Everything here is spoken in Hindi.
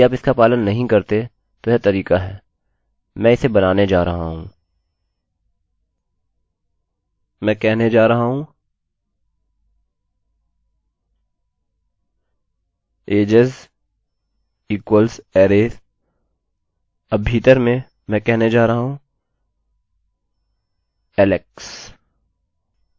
मैं कहने जा रहा हूँ ages equals अरैarray अब भीतर मैं कहने जा रहा हूँ alex